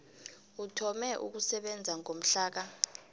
uthome ukusebenza ngomhlaka